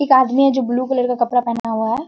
एक आदमी है जो ब्लू कलर का कपड़ा पहना हुआ है।